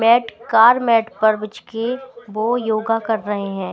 Mat कार mat पर बिछ के वो योगा कर रहे हैं।